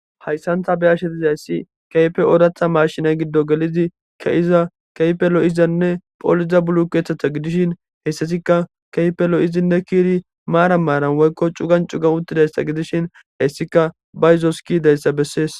hayssantha beashe dizayssi keype oodatha marshina giddo gelidi keiza keehipe lo7izanne phooliza bulu keeththetha gidishin heyssasikka keeippe lo7izinne kiiri maara maaran woykko cugan cugan uttidayssa gidishin hayssika bayzoski dayssa bessees